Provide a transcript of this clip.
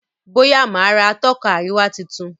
Boya má rà Atọ́ka àríwá títún